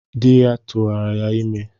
Ya turu ya ime